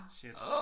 Shit